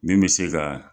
Min bɛ se ka